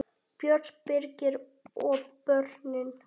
Björt, Birgir og börnin.